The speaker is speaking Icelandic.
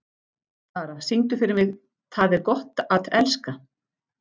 Dara, syngdu fyrir mig „Tað er gott at elska“.